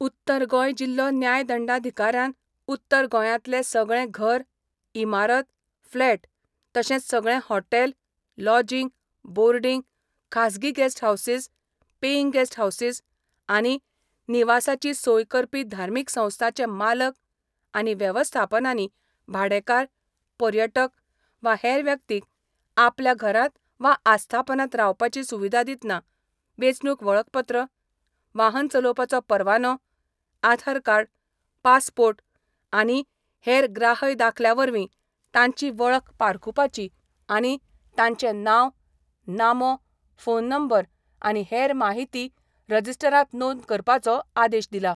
उत्तर गोंय जिल्हो न्यायदंडाधिकाऱ्यान उत्तर गोंयातले सगळें घर, इमारत, फ्लॅट तशेंच सगळें हॉटेल, लॉजिंग, बोर्डिंग, खाजगी guest houses, paying guest houses आनी निवासाची सोय करपी धार्मिक संस्थांचे मालक आनी वेवस्थापनांनी भाडेकांर, पर्यटक वा हेर व्यक्तींक आपल्या घरात वा आस्थापनात रावपाची सुविधा दितना वेंचणूक वळखपत्र, वाहन चलोवपाचो परवानो, आधारकार्ड, पासपोर्ट आनी हेर ग्राहय दाखल्या वरवीं तांची वळख पारखूपाची आनी तांचे नाव, नामो, फोन नंबर आनी हेर माहिती रजिस्टरात नोंद करपाचो आदेश दिला.